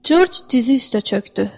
Corc dizi üstə çökdü.